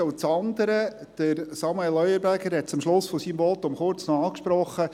Das andere hat Samuel Leuenberger am Ende seines Votums bereits kurz angesprochen.